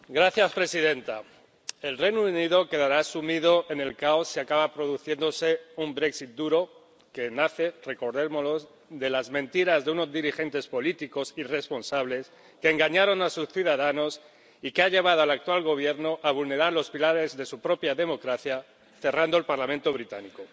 Señora presidenta, el Reino Unido quedará sumido en el caos si acaba produciéndose un duro que nace —recordémoslo— de las mentiras de unos dirigentes políticos irresponsables que engañaron a sus ciudadanos y que han llevado al actual Gobierno a vulnerar los pilares de su propia democracia, cerrando el Parlamento británico.